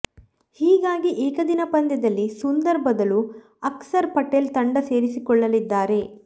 ಹೀಗಾಗಿ ಏಕದಿನ ಪಂದ್ಯದಲ್ಲಿ ಸುಂದರ್ ಬದಲು ಅಕ್ಸರ್ ಪಟೇಲ್ ತಂಡ ಸೇರಿಕೊಳ್ಳಲಿದ್ದಾರೆ